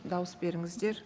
дауыс беріңіздер